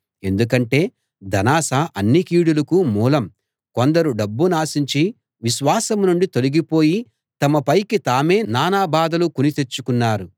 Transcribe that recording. ఎందుకంటే ధనాశ అన్ని కీడులకూ మూలం కొందరు డబ్బునాశించి విశ్వాసం నుండి తొలగిపోయి తమపైకి తామే నానాబాధలు కుని తెచ్చుకున్నారు